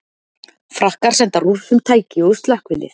Frakkar senda Rússum tæki og slökkvilið